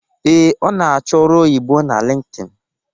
Ee, ọ na-achọ ọrụ oyibo na Lintin